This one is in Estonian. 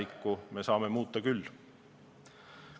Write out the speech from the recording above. Küll aga saame muuta tulevikku.